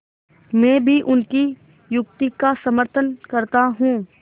मैं भी उनकी युक्ति का समर्थन करता हूँ